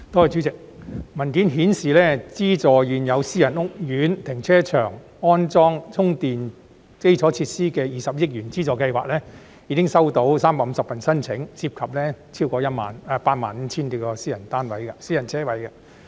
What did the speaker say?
主席，文件顯示資助現有私人屋苑停車場安裝充電基礎設施的20億元資助計劃，現時已經收到350份申請，涉及超過85000多個私人車位。